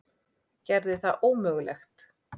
Gerði það ómögulegt.